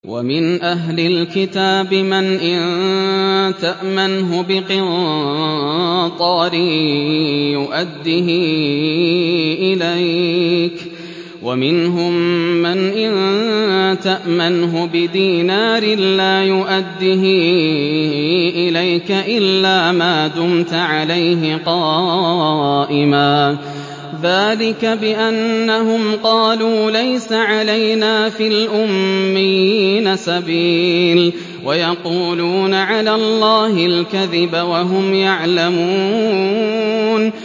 ۞ وَمِنْ أَهْلِ الْكِتَابِ مَنْ إِن تَأْمَنْهُ بِقِنطَارٍ يُؤَدِّهِ إِلَيْكَ وَمِنْهُم مَّنْ إِن تَأْمَنْهُ بِدِينَارٍ لَّا يُؤَدِّهِ إِلَيْكَ إِلَّا مَا دُمْتَ عَلَيْهِ قَائِمًا ۗ ذَٰلِكَ بِأَنَّهُمْ قَالُوا لَيْسَ عَلَيْنَا فِي الْأُمِّيِّينَ سَبِيلٌ وَيَقُولُونَ عَلَى اللَّهِ الْكَذِبَ وَهُمْ يَعْلَمُونَ